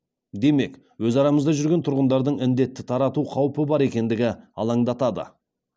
демек өз арамызда жүрген тұрғындардың індетті тарату қаупі бар екендігі алаңдатады